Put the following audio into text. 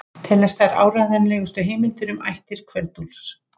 Teljast þær áreiðanlegustu heimildir um ættir Kveld-Úlfs.